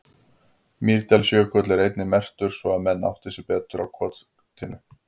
Mýrdalsjökull er einnig merktur svo að menn átti sig betur á kortinu.